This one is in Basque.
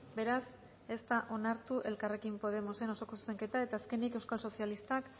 beraz ez da onartu elkarrekin podemosen osoko zuzenketa eta azkenik euskal sozialistak